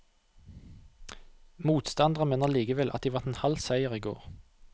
Motstanderne mener likevel at de vant en halv seier i går.